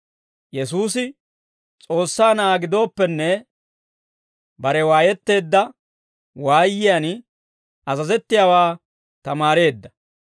Yesuusi S'oossaa Na'aa gidooppenne, bare waayetteedda waayiyaan azazettiyaawaa tamaareedda.